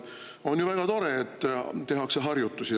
On ju väga tore, et tehakse harjutusi.